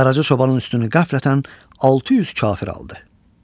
Qaraca çobanın üstünü qəflətən 600 kafir aldı.